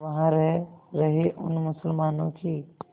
वहां रह रहे उन मुसलमानों की